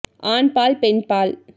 ஆண் பால் பெண் பால்